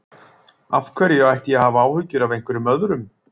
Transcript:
Af hverju ætti ég að hafa áhyggjur af einhverjum öðrum?